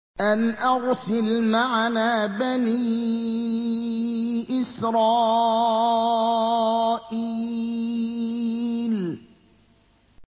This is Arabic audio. أَنْ أَرْسِلْ مَعَنَا بَنِي إِسْرَائِيلَ